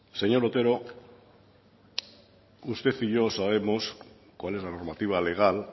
señor otero usted y yo sabemos cuál es la normativa legal